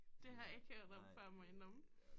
Det har jeg ikke hørt om før må jeg indrømme